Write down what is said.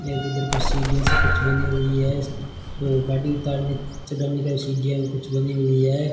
ये इधर कुछ सीढ़ियां सी कुछ बनी हुई है वो गाडी उतारने चढ़ाने का सीढ़ियां भी कुछ लगी हुई है।